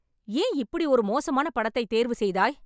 என் இப்படி ஒரு மோசமான படத்தைத் தேர்வு செய்தாய்